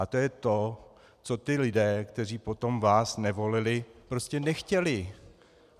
A to je to, co ti lidé, kteří potom vás nevolili, prostě nechtěli.